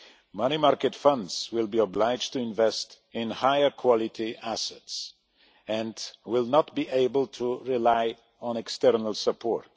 Money market funds will be obliged to invest in higher quality assets and will not be able to rely on external support.